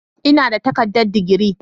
Ina da takardar digiri.